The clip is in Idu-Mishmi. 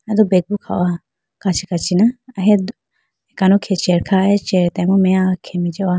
Aye do bag bo kha howa kachi kachi na ahiya akano khege chair kha aye akano chair atambo meya khege jihowa.